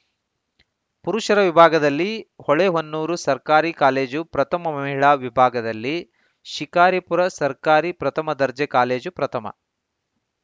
ಪುರುಷರ ವಿಭಾಗದಲ್ಲಿ ಹೊಳೆಹೊನ್ನೂರು ಸರ್ಕಾರಿ ಕಾಲೇಜು ಪ್ರಥಮ ಮಹಿಳಾ ವಿಭಾಗದಲ್ಲಿ ಶಿಕಾರಿಪುರ ಸರ್ಕಾರಿ ಪ್ರಥಮ ದರ್ಜೆ ಕಾಲೇಜು ಪ್ರಥಮ